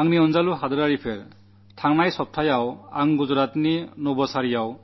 എന്റെ പ്രിയ ദേശവാസികളേ കഴിഞ്ഞയാഴ്ച എനിക്ക് ഗുജറാത്തിലെ നവസാരിയിൽ